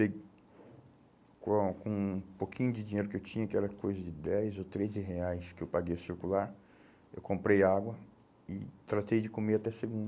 E com um pouquinho de dinheiro que eu tinha, que era coisa de dez ou treze reais que eu paguei circular, eu comprei água e tratei de comer até segunda.